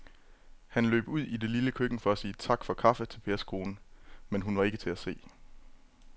Han løb ud i det lille køkken for at sige tak for kaffe til Pers kone, men hun var ikke til at se.